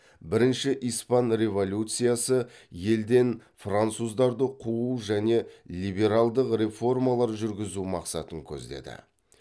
бірінші испан революциясы елден француздарды қуу және либералдық реформалар жүргізу мақсатын көздеді